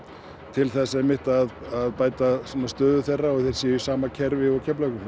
til þess einmitt að bæta stöðu þeirra og að þeir séu í sama kerfi og Keflavíkur